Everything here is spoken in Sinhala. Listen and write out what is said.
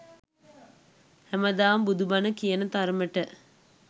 හැමදාම බුදු බන කියන තරමට